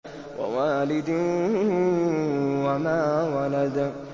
وَوَالِدٍ وَمَا وَلَدَ